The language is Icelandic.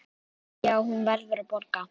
Já, hún verður að borga.